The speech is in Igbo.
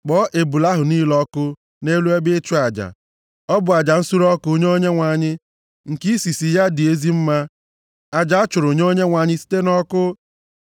Kpọọ ebule ahụ niile ọkụ nʼelu ebe ịchụ aja. Ọ bụ aja nsure ọkụ nye Onyenwe anyị, nke isisi ya dị ezi mma. Aja a chụrụ nye Onyenwe anyị site nʼọkụ.